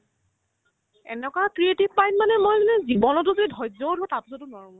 এনেকুৱা creative পাই মানে মই যদি জীৱনতো যে ধ্যৈযও ধৰো তাৰ পিছতও নোৱাৰো